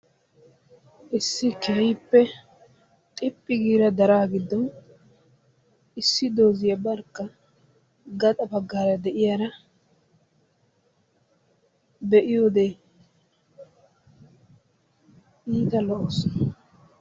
Issi keehippe xiphphi giida daraa giddon issi doziyaa barkka gaxa baggara de'iyara be'iyodde iitta lo'assu.